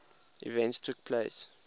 events took place